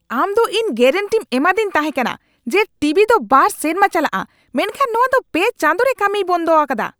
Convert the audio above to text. ᱟᱢ ᱫᱚ ᱤᱧ ᱜᱮᱨᱮᱱᱴᱤᱢ ᱮᱢᱟᱫᱤᱧ ᱛᱟᱦᱮᱠᱟᱱᱟ ᱡᱮ ᱴᱤᱵᱤ ᱫᱚ ᱒ ᱥᱮᱨᱢᱟ ᱪᱟᱞᱟᱜᱼᱟ ᱢᱮᱱᱠᱷᱟᱱ ᱱᱚᱣᱟ ᱫᱚ ᱓ ᱪᱟᱸᱫᱚ ᱨᱮ ᱠᱟᱹᱢᱤᱭ ᱵᱚᱱᱫᱚ ᱟᱠᱟᱫᱟ !